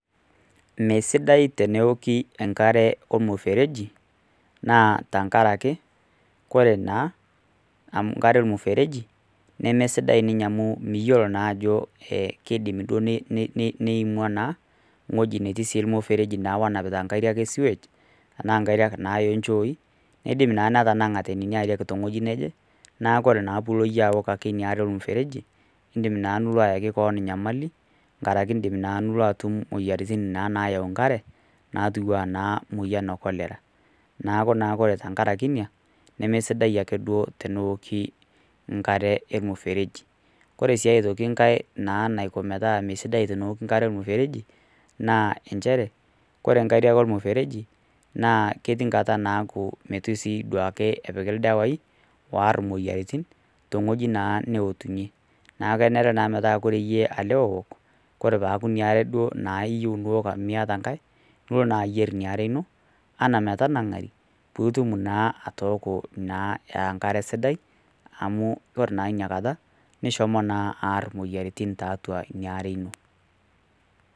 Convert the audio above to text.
Mesidai teneoki enkare ormusereji na tangaraki ore na enkare ormusereji nemesidai amu miyiolo ajo kidim niimua na ewoii natii ormusereji onapatita enkare osiwej oonchoi nidimbna netanangate nona ariak tewueji naje naaku ore na pilo iyie aok inaare ormusereji indimbnaa nilotu aaki keon nyamali tenkaraki indim na niyaki keon moyiaritin na nayau nkare natii anaa kolera neakuore tenkaraki ina nemesidai ake duo teneoki enkaee ormusereji ore na enkae toki metaa meoki enkare ormusereji na elnchere ore nkariak ormusereji metaa ituepiki ildawai oar imoyiaritin tenewueji na naetumye neaku kenaere metaabtenaku iyie ook na iyieu niwol amu miiata enkare nieok nilo na ayier metanangari pitumoki naa aaok a enkare sidai amu ore na inakata neshomo na aar imoyiaritin tiatua inaare ino.